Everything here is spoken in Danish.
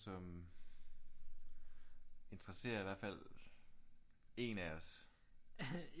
Som interesserer i hvert fald én af os